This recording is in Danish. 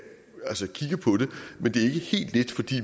men det helt let fordi